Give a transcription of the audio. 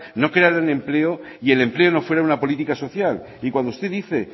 no crearan empleo y el empleo no fuera una política social y cuando usted dice